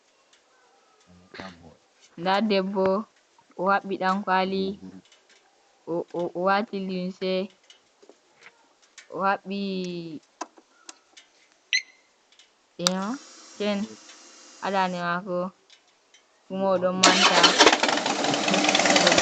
Nda debbo o habbi dankwali wati lunse, o habbi chen hadande mako, kumo o ɗon manta vodi.